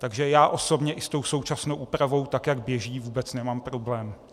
Takže já osobně i s tou současnou úpravou, tak jak běží, vůbec nemám problém.